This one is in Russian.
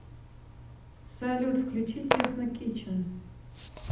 салют включи техно кичен